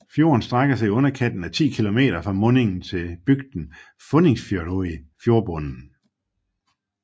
Fjorden strækker sig i underkanten af ti kilometer fra mundingen til bygden Funningsfjørðuri fjordbunden